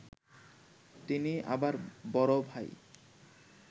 তিনি আবার বড় ভাই